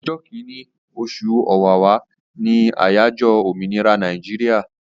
Ọjọ́ kìíní, oṣù Ọ̀wàwà ni àyájọ́ òmìnira Nàíjíríà.